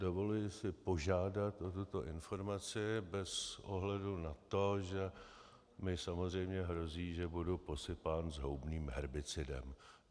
Dovoluji si požádat o tuto informaci bez ohledu na to, že mi samozřejmě hrozí, že budu posypán zhoubným herbicidem.